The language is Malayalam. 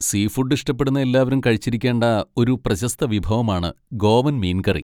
സീഫുഡ് ഇഷ്ടപ്പെടുന്ന എല്ലാവരും കഴിച്ചിരിക്കേണ്ട ഒരു പ്രശസ്ത വിഭവമാണ് ഗോവൻ മീൻ കറി.